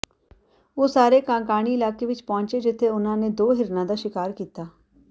ਉਹ ਸਾਰੇ ਕਾਂਕਾਣੀ ਇਲਾਕੇ ਵਿੱਚ ਪਹੁੰਚੇ ਜਿੱਥੇ ਉਨ੍ਹਾਂ ਨੇ ਦੋ ਹਿਰਨਾਂ ਦਾ ਸ਼ਿਕਾਰ ਕੀਤਾ